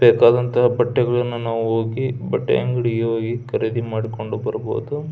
ಬೇಕಾದಂತ ಬಟ್ಟೆಗಳನ್ನ ನಾವು ಹೋಗಿ ಬಟ್ಟೆಯಂಗಡಿಗೆ ಹೋಗಿ ಖರೀದಿ ಮಾಡಿಕೊಂಡು ಬರಬಹುದು.